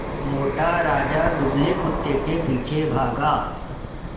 मोटा राजा दुबले कुत्ते के पीछे भागा